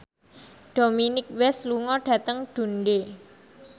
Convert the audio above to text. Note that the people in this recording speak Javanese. Dominic West lunga dhateng Dundee